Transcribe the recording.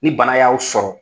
Ni bana y'aw sɔrɔ